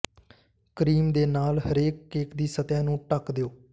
cream ਦੇ ਨਾਲ ਹਰੇਕ ਕੇਕ ਦੀ ਸਤਹ ਨੂੰ ਢੱਕ ਦਿਓ